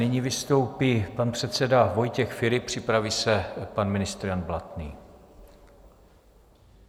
Nyní vystoupí pan předseda Vojtěch Filip, připraví se pan ministr Jan Blatný.